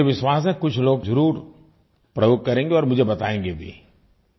मुझे विश्वास है कुछ लोग ज़रूर प्रयोग करेंगे और मुझे बतायेंगे भी